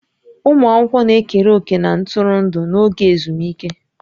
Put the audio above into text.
Ụmụ akwụkwọ na-ekere òkè na ntụrụndụ n'oge ezumike